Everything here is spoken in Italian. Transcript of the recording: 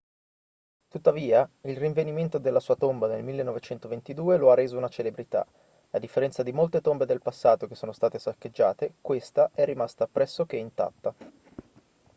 tuttavia il rinvenimento della sua tomba nel 1922 lo ha reso una celebrità a differenza di molte tombe del passato che sono state saccheggiate questa è rimasta pressoché intatta